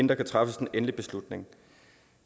der træffes en endelig beslutning